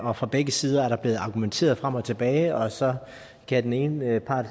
og fra begge sider er der blevet argumenteret frem og tilbage og så kan den ene part